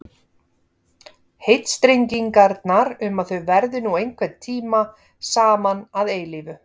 Heitstrengingarnar um að þau verði nú einhvern tíma saman að eilífu.